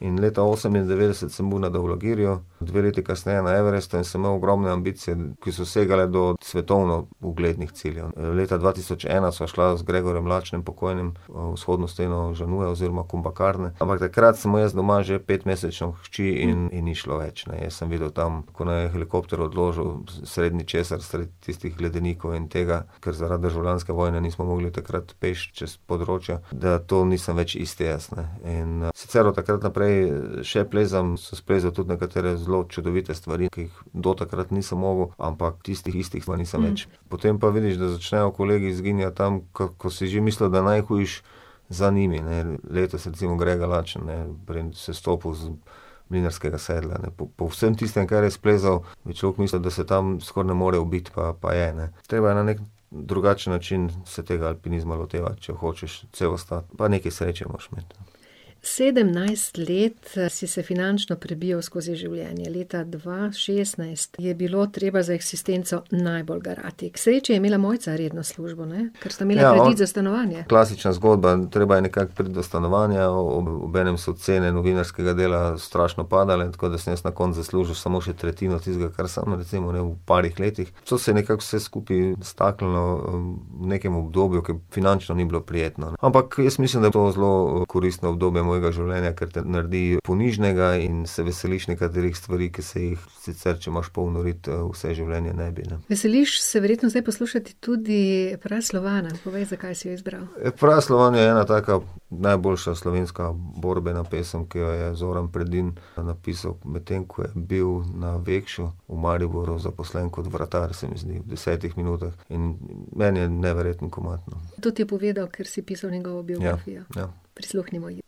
In leta osemindevetdeset sem bil na Daulagiriju, dve leti kasneje na Everestu in sem imel ogromne ambicije, ki so segale do svetovno uglednih ciljev, ne. Leta dva tisoč ena sva šla z Gregorjem Lačnim, pokojnim, vzhodno steno Jannuja oziroma Kumbhakarne, ampak takrat sem imel jaz doma že petmesečno hčer in, in ni šlo, več, ne, jaz sem videl tam, ko naju je helikopter odložil sredi ničesar, sredi tistih ledenikov in tega, ker zaradi državljanske vojne nismo mogli takrat peš čez področja, da to nisem več isti jaz, ne. In, sicer od takrat naprej še plezam, sem splezal tudi nekatere zelo čudovite stvari, ki jih do takrat nisem mogel, ampak tistih istih pa nisem več. Potem pa vidiš, da začnejo kolegi izginjati tam, ko, ko si že mislil, da je najhujše za njimi, ne. Letos recimo Grega Lačen, ne, pri sestopu z Mlinarskega sedla, ne. Po, po vsem tistim, kar je splezal, bi človek mislil, da se tam skoraj ne more ubiti, pa, pa je, ne. Treba je na neki drugačen način se tega alpinizma lotevati, če hočeš cel ostati. Pa nekaj sreče moraš imeti. Sedemnajst let, si se finančno prebijal skozi življenje, leta dva šestnajst je bilo treba za eksistenco najbolj garati. K sreči je imela Mojca redno službo, ne? Ker sta imela kredit za stanovanje, ne? Ja, ... Klasična zgodba, treba je nekako priti do stanovanja, obenem so cene novinarskega dela strašno padale, tako da sem jaz na koncu zaslužil samo še tretjino tistega, kar sem recimo imel v parih letih, to se je nekako vse skupaj staknilo v nekem obdobju, ki finančno ni bilo prijetno, ne. Ampak jaz mislim, da je to zelo koristno obdobje mojega življenja, ker te naredi ponižnega in se veseliš nekaterih stvari, ki se jih sicer, če imaš polno rit vse življenje, ne bi, ne. Veseliš se verjetno zdaj poslušati tudi Praslovana, povej, zakaj si jo izbral. Praslovan je ena taka najboljša slovenska borbena pesem, ki jo je Zoran Predin napisal, medtem ko je bil na Vekšu v Mariboru zaposlen kot vratar, se mi zdi. V desetih minutah. In meni je neverjeten komad. To ti je povedal, ker si pisal njegovo biografijo? Ja. Ja. Prisluhnimo ji.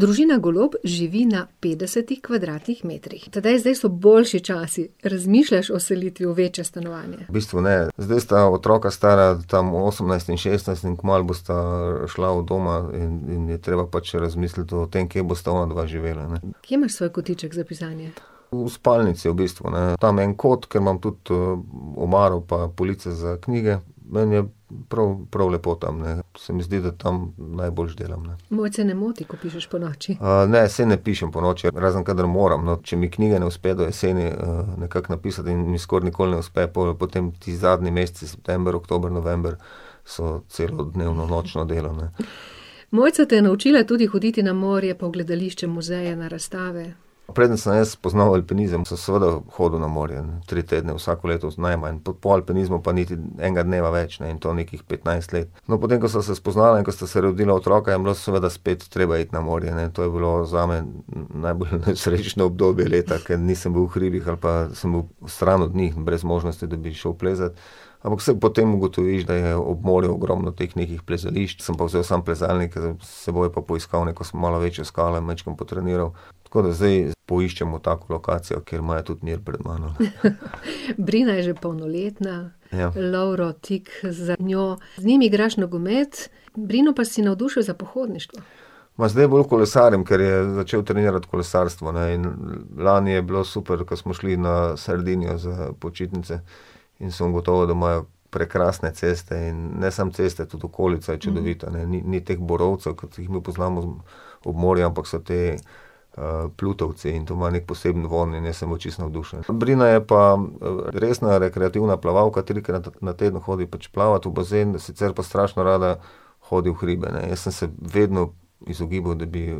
Družina Golob živi na petdesetih kvadratnih metrih. Tadej, zdaj so boljši časi. Razmišljaš o selitvi v večje stanovanje? V bistvu ne. Zdaj sta otroka stara tam osemnajst in šestnajst in kmalu bosta šla od doma in, in je treba pač razmisliti o tem, kje bosta onadva živela, ne. Kje imaš svoj kotiček za pisanje? V spalnici v bistvu, ne. Tam en kot, kjer imam tudi, omaro pa police za knjige, meni je prav, prav lepo tam, ne. Se mi zdi, da tam najboljše delam, ne. Mojce ne moti, ko pišeš ponoči? ne, saj ne pišem ponoči, razen kadar moram, no, če mi knjige ne uspe do jeseni, nekako napisati, in mi skoraj nikoli ne uspe, pol potem ti zadnji meseci, september, oktober, november, so celodnevno nočno delo, ne. Mojca te je naučila tudi hoditi na morje, pa v gledališče, muzeje, na razstave. Preden sem jaz spoznal alpinizem, sem seveda hodil na morje. Tri tedne vsako leto, najmanj. Po alpinizmu pa niti enega dneva več ne, in to nekih petnajst let. No, potem, ko sva se spoznala in ko sta se rodila otroka, je bilo seveda spet treba iti na morje, ne, to je bilo zame najbolj nesrečno obdobje leta, ker nisem bil v hribih, ampak sem bil stran od njih, brez možnosti, da bi šel plezat. Ampak saj potem ugotoviš, da je ob morju ogromno teh nekih plezališč, sem pa vzel samo plezalnik s seboj pa poiskal neko malo večjo skalo in majčkeno potreniral. Tako da zdaj poiščemo tako lokacijo, kjer imajo tudi mir pred mano, ne. Brina je že polnoletna. Ja. Lovro tik, za njo, z njim igraš nogomet, Brino pa si navdušil za pohodništvo. Ma zdaj bolj kolesarim, ker je začel trenirati kolesarstvo, ne, in lani je bilo super, ko smo šli na Sardinijo za počitnice. In sem ugotovil, da imajo prekrasne ceste, in ne samo ceste, tudi okolica je čudovita, ne. Ni, ni teh borovcev, kot jih mi poznamo ob morju, ampak so ti, plutovci, in to ima neki poseben vonj in jaz sem bil čisto navdušen. Brina je pa, resna rekreativna plavalka, trikrat na teden hodi pač plavat v bazen, sicer pa strašno rada hodi v hribe, ne. Jaz sem se vedno izogibal, da bi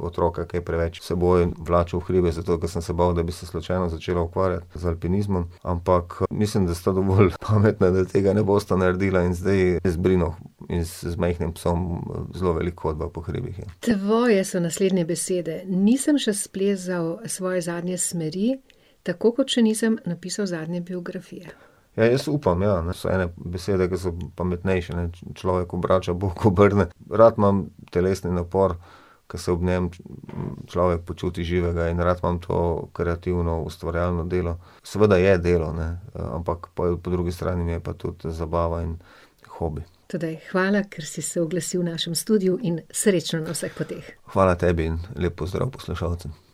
otroka kaj preveč s seboj vlačili v hribe, zato ker sem se bal, da bi se slučajno začela ukvarjati z alpinizmom, ampak mislim, da sta dovolj pametna, da tega ne bosta naredila, in zdaj z Brino in z majhnim psom zelo veliko hodiva po hribih. Tvoje so naslednje besede: "Nisem še splezal svoje zadnje smeri, tako kot še nisem napisal zadnje biografije." Ja, jaz upam, ja. So ene besede, ki so pametnejše, ne. Človek obrača, bog obrne. Rad imam telesni napor, ker se ob njem človek počuti živega, in rad imam to kreativno, ustvarjalno delo. Seveda je delo, ne. Ampak pol po drugi strani mi je pa tudi zabava in hobi. Tadej, hvala, ker si se oglasil v našim studiu, in srečno na vseh poteh. Hvala tebi in lep pozdrav poslušalcem.